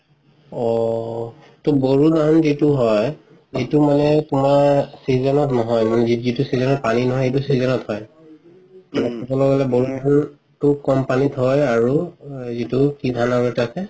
ঔ ত বড়ো ধান যিতো হয় সেইটো মানে তুমাৰ season নহয় যিতো season পানি নহয় সেইটো season হয় কম পানিত হয় আৰু যিতো আৰু কি ধান এটা থাকে